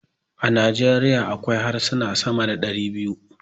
A Nijeriya akwai harsuna sama da dari biyu.